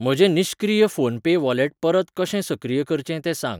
म्हजें निश्क्रीय PhonePe wallet परत कशें सक्रिय करचें तें सांग.